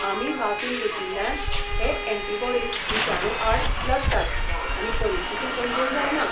आमी वासीनघेतिल्ल्यान हे एंटिबॉडिस विशाणू आड लडटात आनी परिस्थिती गंभीर जायना.